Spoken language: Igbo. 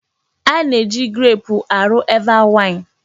Ana-eji greepụ arụ Eva waịn.